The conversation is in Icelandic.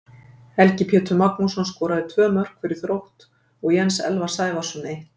Helgi Pétur Magnússon skoraði tvö mörk fyrir Þrótt og Jens Elvar Sævarsson eitt.